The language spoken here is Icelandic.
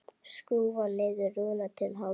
Skrúfar niður rúðuna til hálfs.